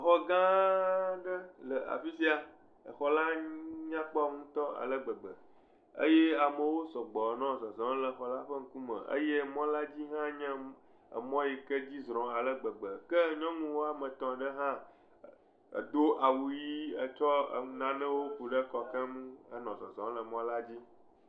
Xɔ gã aɖe le afisia. Xɔ la nyakpɔ ŋutɔ alegbegbe eye amewo sɔgbɔ nɔ zɔzɔm le xɔ la ƒe ŋkume eye mɔ la dzi hã nye ŋu emɔ yike zrɔ̃ale gbegbe ke nyɔnu woame etɔ ɖe hã, edo awu ɣi eye wokɔ nanewo kɔ ku kɔ keŋ henɔ zɔzɔm le mɔla dzi.